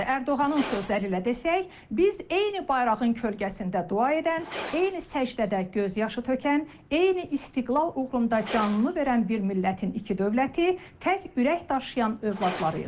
Ərdoğanın sözləri ilə desək, biz eyni bayrağın kölgəsində dua edən, eyni səcdədə göz yaşı tökən, eyni istiqlal uğrunda canını verən bir millətin iki dövləti, tək ürək daşıyan övladlarıyıq.